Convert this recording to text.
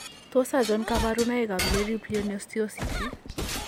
Tos achon kabarunaik ab Leri pleonosteosis ?